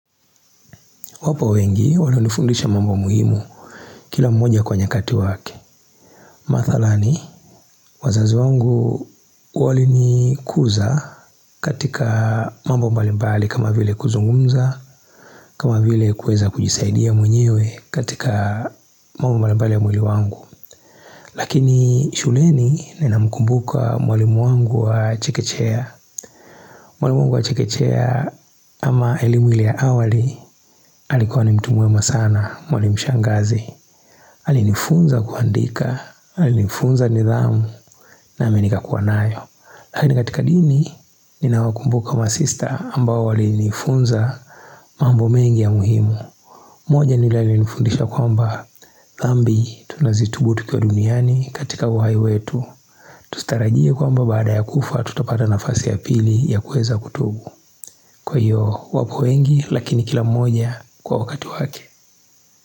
Wapo wengi walonifundisha mambo muhimu kila mmoja kwa nyakati wake. Mathalani, wazazi wangu walinikuza katika mambo mbalimbali kama vile kuzungumza. Kama vile kueza kujisaidia mwenyewe katika mambo mbalimbali ya mwili wangu. Lakini shuleni ninamkumbuka mwalimu wangu wa chikechea. Mwalimu wangu wa chekechea ama elimu ile ya awali, alikuwa ni mtu mwema sana. Mwalimu shangazi. Alinifunza kuandika, alinifunza nidhamu na mimi nikakuwa nayo. Lakini katika dini, ninawakumbuka masista ambao walinifunza mambo mengi ya muhimu. Moja ni ule alinifundisha kwamba dhambi tunazitubu tukiwa duniani katika uhai wetu. Tusitarajie kwamba baada ya kufa tutapata nafasi ya pili ya kuweza kutubu. Kwa hiyo wapo wengi, lakini kila mmoja kwa wakati wake.